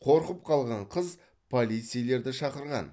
қорқып қалған қыз полицейлерді шақырған